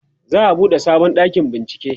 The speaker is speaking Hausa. za'a buɗe sabon ɗakin bincike